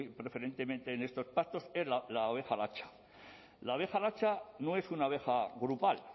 preferentemente en estos pastos es la oveja latxa la oveja latxa no es una oveja grupal